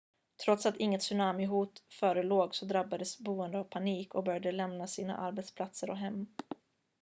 trots att inget tsunamihot förelåg så drabbades boende av panik och började lämna sina arbetsplatser och hem